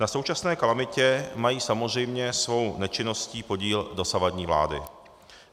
Na současné kalamitě mají samozřejmě svou nečinností podíl dosavadní vlády.